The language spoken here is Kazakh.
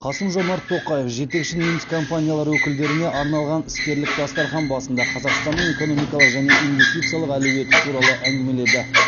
қасым жомарт тоқаев жетекші неміс компаниялары өкілдеріне арналған іскерлік дастархан басында қазақстанның экономикалық және инвестициялық әлеуеті туралы әңгімеледі